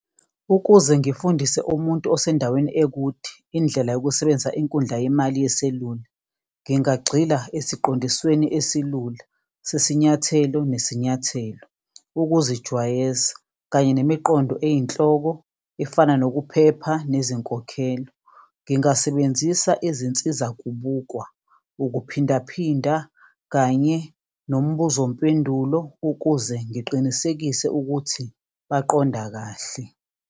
Ukuze ngifundise umuntu osendaweni ekude indlela yokusebenzisa inkundla yemali yeselula, ngingagxila esiqondisweni esilula sesinyathelo nesinyathelo, ukuzijwayeza, kanye nemiqondo eyinhloko efana nokuphepha nezinkokhelo. Ngingasebenzisa izinsiza kubukwa ukuphindaphinda kanye nombuzo-mpendulo ukuze ngiqinisekise ukuthi baqonda kahle.